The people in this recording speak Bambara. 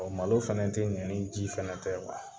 malo fɛnɛ te ɲɛ ni ji fɛnɛ tɛ .